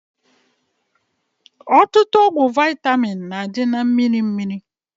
Ọtụtụ ọgwụ vaịtamin na-adị na mmiri mmiri